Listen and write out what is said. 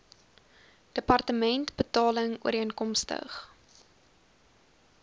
departement betaling ooreenkomstig